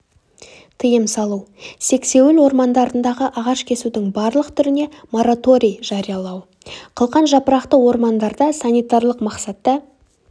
тыйым салу сексеуіл ормандарындағы ағаш кесудің барлық түріне мораторий жариялау қылқан жапырақты ормандарда санитарлық мақсатта